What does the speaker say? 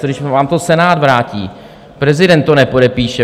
Co když vám to Senát vrátí, prezident to nepodepíše?